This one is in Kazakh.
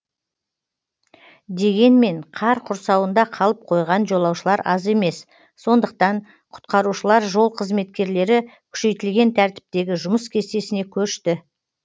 дегенмен қар құрсауында қалып қойған жолаушылар аз емес сондықтан құтқарушылар жол қызметкерлері күшейтілген тәртіптегі жұмыс кестесіне көшті